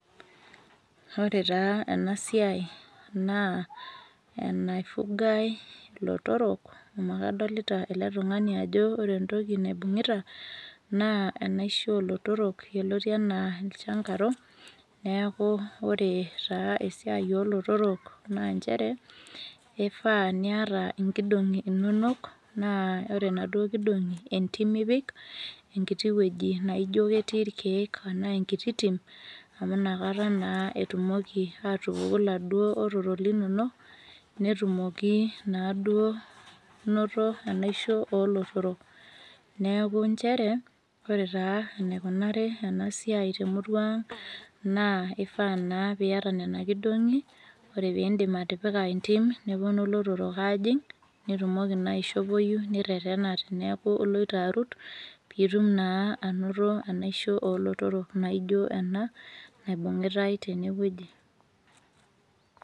Ore taa enasiai naa, enaifugai ilotorok, amu kadolita ele tung'ani ajo ore entoki naibung'ita, naa enaisho olotorok, yioloti enaa ilchangaro, neeku ore taa esiai olotorok, naa njere, ifaa niata inkidong'i inonok, naa ore naduo kidong'i, entim ipik, enkiti wueji naijo ketii irkeek enaa enkiti tim, amu nakata naa etumoki atupuku iladuo otorok linonok, netumoki naduo noto enaisho olotorok. Neeku njere, ore taa enaikunari enasiai temurua ang, naa ifaa naa piata nena kidong'i, ore pidim atipika entim, neponu ilotorok ajing', nitumoki naa aishopoyu nirretena teneeku iloito arut, pitum naa ainoto enaisho olotorok naijo ena, naibung'itai tenewueji.